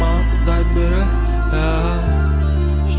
маған құдай береді